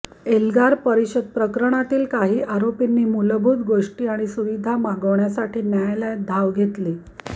एल्गार परिषद प्रकरणातील काही आरोपींनी मूलभूत गोष्टी आणि सुविधा मागण्यासाठी न्यायालयात धाव घेतली